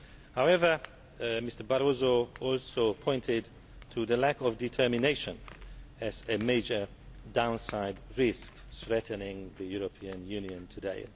However, Mr Barroso also pointed to lack of determination as a major downside risk threatening the European Union today.